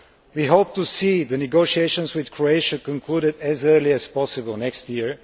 We hope to see the negotiations with Croatia concluded as early as possible next year.